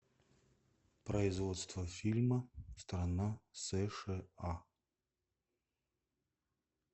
производство фильма страна сша